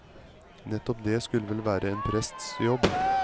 Nettopp det skulle vel være en prests jobb.